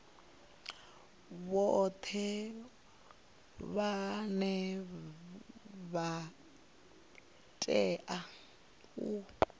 vhoṱhe vhane vha tea u